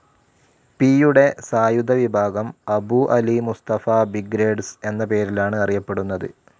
പിയുടെ സായുധ വിഭാഗം അബു അലി മുസ്തഫ ബ്രിഗേഡ്സ്‌ എന്ന പേരിലാണ് അറിയപ്പെടുന്നത്.